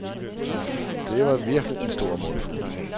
Det var virkelig en stor mundfuld.